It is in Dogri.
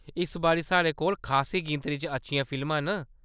इस बारी साढ़े कोल खासी गिनतरी च अच्छियां फिल्मां न।